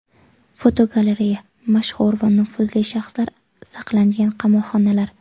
Fotogalereya: Mashhur va nufuzli shaxslar saqlangan qamoqxonalar.